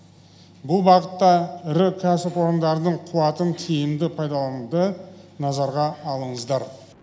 бұл бағытта ірі кәсіпорындардың қуатын тиімді пайдалануды назарға алыңыздар